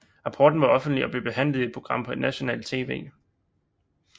Rapporten var offentlig og blev behandlet i et program på nationalt tv